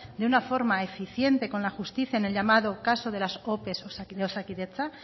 de una forma eficiente con la justicia en el llamado caso de las ope de osakidetza